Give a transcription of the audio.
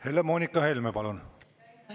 Helle-Moonika Helme, palun!